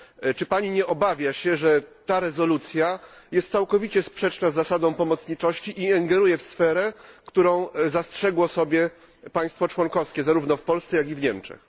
Czy Pani nie obawia się, że ta rezolucja jest całkowicie sprzeczna z zasadą pomocniczności i ingeruje w sferę, którą zastrzegło sobie państwo członkowskie, zarówno w Polsce, jak i w Niemczech?